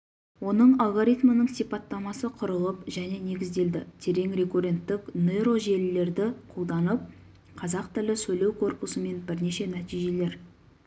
оның алгоритмінің сипаттамасы құрылып және негізделді терең рекурренттік нейрожелілерді қолданып қазақ тілі сөйлеу корпусымен бірнеше нәтижелер